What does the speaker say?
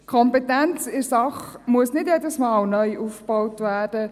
Die Kompetenz in der Sache muss nicht jedes Mal neu aufgebaut werden.